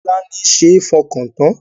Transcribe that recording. Tolani ṣe é fọkàn tán